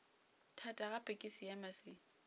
thata gape ke seema se